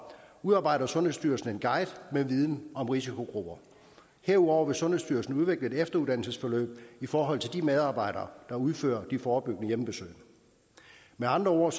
udarbejder sundhedsstyrelsen en guide med viden om risikogrupper herudover vil sundhedsstyrelsen udvikle et efteruddannelsesforløb i forhold til de medarbejdere der udfører de forebyggende hjemmebesøg med andre ord